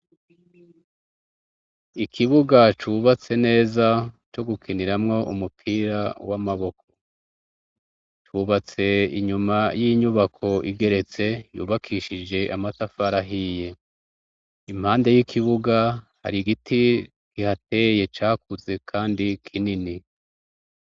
Ikibuga cubatse neza co gukiniramwo umupira w'amaboko, cubatse inyuma y'inyubako igeretse, yubakishije amatafari ahiye. Impande y'ikibuga hari giti kihateye cakuze kandi kinini.